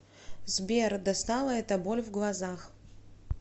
сбер достала эта боль в глазах